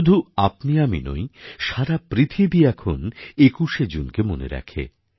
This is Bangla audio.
শুধু আপনিআমি নই সারা পৃথিবী এখন ২১শে জুনকে মনে রাখে